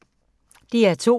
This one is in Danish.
DR2